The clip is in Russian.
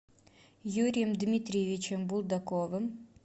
юрием дмитриевичем булдаковым